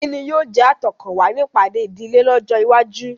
Ìkíni yóò jẹ́ àtọkànwá ní ìpàdé ìdílé lọ́jọ́ iwájú.